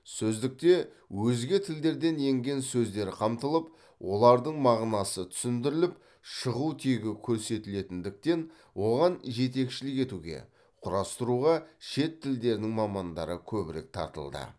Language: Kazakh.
сөздікте өзге тілдерден енген сөздер қамтылып олардың мағынасы түсіндіріліп шығу тегі көрсетілетіндіктен оған жетекшілік етуге құрастыруға шет тілдерінің мамандары көбірек тартылды